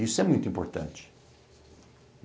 Isso é muito importante.